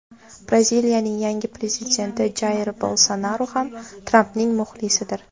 Braziliyaning yangi prezidenti Jair Bolsonaru ham Trampning muxlisidir.